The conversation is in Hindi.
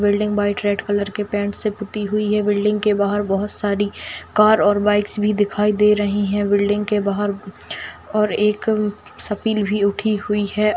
बिल्डिंग वाइट रेड कलर के पेंट से पुती हुई है बिल्डिंग के बाहर बहोत सारी कार और बाइक्स भी दिखाई दे रही हैं बिल्डिंग के बाहर और एक सफ़िल भी उठी हुई है।